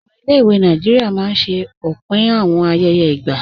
Awọn ilẹ̀-ìwé Nàìjíríà máa n ṣẹ̀ òpin awọn ayẹyẹ igba.